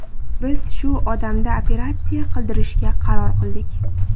Biz shu odamda operatsiya qildirishga qaror qildik.